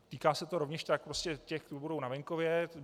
Týká se to rovněž tak prostě těch, co budou na venkově.